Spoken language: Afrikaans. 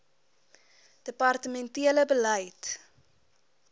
departemen tele beleid